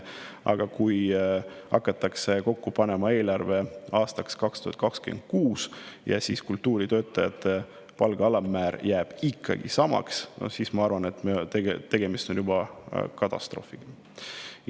Aga kui hakatakse kokku panema eelarvet aastaks 2026 ja kultuuritöötajate palga alammäär jääb ikkagi samaks, siis, ma arvan, on tegemist juba katastroofiga.